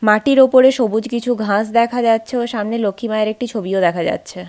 মাটির ওপরে সবুজ কিছু ঘাস দেখা যাচ্ছে ও সামনে লক্ষী মায়ের একটি ছবি ও দেখা যাচ্ছে।